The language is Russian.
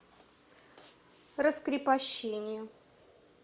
раскрепощение